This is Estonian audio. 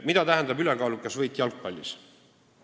Mida tähendab ülekaalukas võit jalgpallis?